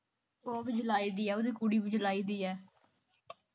ਓਹ ਵੀ ਜੁਲਾਈ ਦੀ ਆ ਉਹਦੀ ਕੁੜੀ ਵੀ ਜੁਲਾਈ ਦੀ ਆ